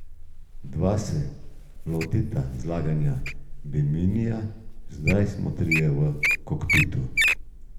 Dva se lotiva zlaganja biminija, zdaj smo trije v kokpitu.